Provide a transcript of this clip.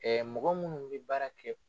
Ɛɛ mɔgɔ minnu bɛ baara kɛ